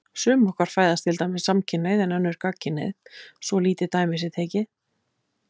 Sum okkar fæðast til dæmis samkynhneigð og önnur gagnkynhneigð, svo lítið dæmi sé tekið.